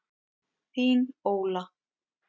Þín, Óla.